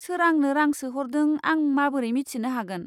सोर आंनो रां सोहरदों आं माबोरै मिथिनो हागोन?